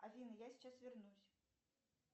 афина я сейчас вернусь